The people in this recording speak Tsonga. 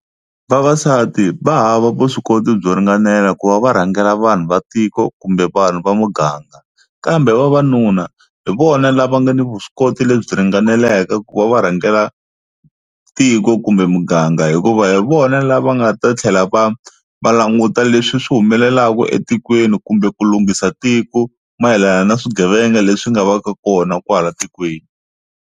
Vavasati va hava vuswikoti byo ringanela ku va va rhangela vanhu va tiko kumbe vanhu va muganga kambe vavanuna hi vona lava nga ni vuswikoti lebyi ringaneleke ku va va rhangela tiko kumbe muganga hikuva hi vona lava nga ta tlhela va va languta leswi swi humelelaka etikweni kumbe ku lunghisa tiko mayelana na swigevenga leswi nga va ka kona kwala tikweni.